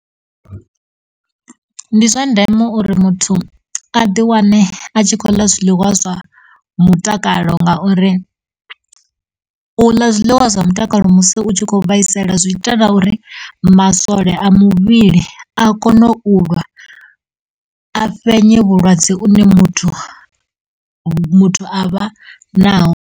Ndi zwa ndeme uri muthu a ḓi wane a tshi khou ḽa zwiḽiwa zwa mutakalo ngauri u ḽa zwiḽiwa zwa mutakalo musi u tshi kho vhaisala zwi ita na uri masole a muvhili a kone u lwa a fhenya vhulwadze vhune muthu, muthu a vha naho.